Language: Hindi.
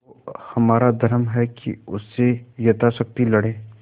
तो हमारा धर्म है कि उससे यथाशक्ति लड़ें